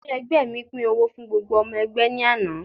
Adárí ẹgbẹ́ mi pín owó fún gbogbo ọmọ ẹgbẹ́ ní àná.